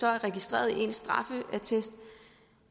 er registreret i ens straffeattest og